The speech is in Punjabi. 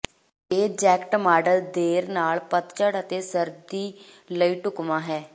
ਇਹ ਜੈਕਟ ਮਾਡਲ ਦੇਰ ਨਾਲ ਪਤਝੜ ਅਤੇ ਸਰਦੀ ਲਈ ਢੁਕਵਾਂ ਹੈ